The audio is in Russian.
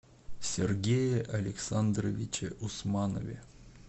сергее александровиче усманове